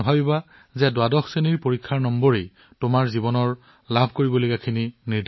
নাভাবিব যে দ্বাদশ বৰ্ডৰ নম্বৰে সিদ্ধান্ত লয় যে আপুনি জীৱনত কি প্ৰাপ্ত কৰিবলৈ সক্ষম